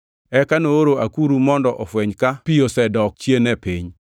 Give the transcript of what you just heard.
Eka nooro akuru mondo ofweny ka pi osedok chien e piny.